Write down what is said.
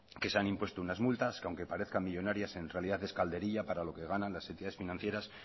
que se han impuesto unas multas que aunque parezca millónaria en realidad es calderilla para lo que ganan las entidades financieras